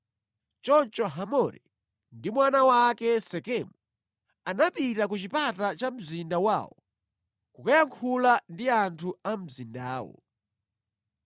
Choncho Hamori ndi mwana wake Sekemu anapita ku chipata cha mzinda wawo kukayankhula ndi anthu a mu mzindawo.